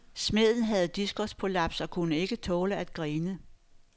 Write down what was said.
Smeden havde diskusprolaps og kunne ikke tåle at grine.